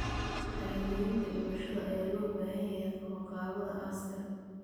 Shahaadooyinka dhimashada ayaa loo baahan yahay qabanqaabada aaska.